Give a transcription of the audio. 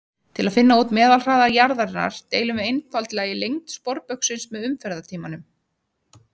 Til að finna út meðalhraða jarðarinnar deilum við einfaldlega í lengd sporbaugsins með umferðartímanum: